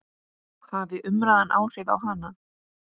Hafði umræðan áhrif á hana?